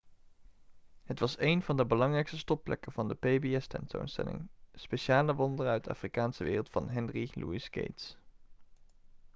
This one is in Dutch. het was een van de belangrijkste stopplekken van de pbs-tentoonstelling speciale wonderen uit de afrikaanse wereld van henry louis gates